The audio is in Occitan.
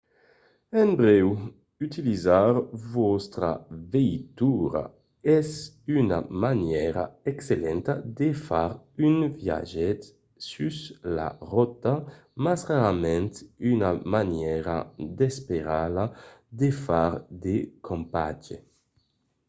en brèu utilizar vòstra veitura es una manièra excellenta de far un viatge sus la rota mas rarament una manièra d'esperela de far de campatge